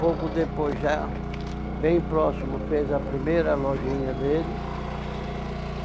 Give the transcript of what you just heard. Pouco depois já, bem próximo, fez a primeira lojinha dele.